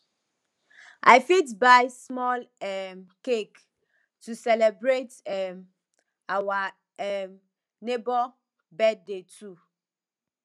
i fit buy small um cake to celebrate um our um neighbor birthday too